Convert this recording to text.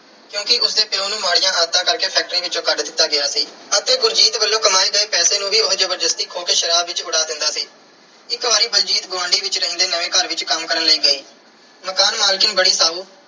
ਕਿਉਂਕਿ ਉਸ ਦੇ ਪਿਉ ਨੂੰ ਮਾੜੀਆਂ ਆਦਤਾਂ ਕਰਕੇ factory ਵਿੱਚੋਂ ਕੱਢ ਦਿੱਤਾ ਗਿਆ ਸੀ ਅਤੇ ਬਲਜੀਤ ਵੱਲੋਂ ਕਮਾਏ ਗਏ ਪੈਸੇ ਨੂੰ ਵੀ ਉਹ ਜ਼ਬਰਦਸਤੀ ਖੋਹ ਕੇ ਸ਼ਰਾਬ ਵਿੱਚ ਉਡਾ ਦਿੰਦਾ ਸੀ। ਇੱਕ ਵਾਰੀ ਬਲਜੀਤ ਗੁਆਂਢ ਵਿੱਚ ਰਹਿੰਦੇ ਨਵੇਂ ਘਰ ਵਿੱਚ ਕੰਮ ਕਰਨ ਲਈ ਗਈ। ਮਕਾਨ ਮਾਲਕਣ ਬੜੀ ਸਾਊ